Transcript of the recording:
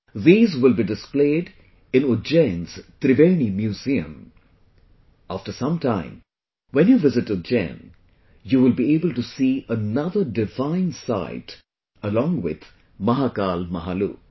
These will be displayed in Ujjain's Triveni Museum... after some time, when you visit Ujjain; you will be able to see another divine site along with Mahakal Mahalok